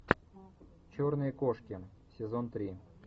черные кошки сезон три